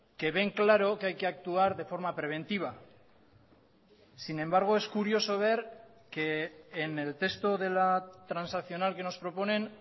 que ven claro que hay que actuar de forma preventiva sin embargo es curioso ver que en el texto de la transaccional que nos proponen